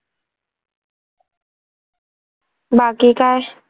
बाकी काय?